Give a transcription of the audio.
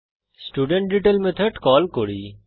student detail method call করি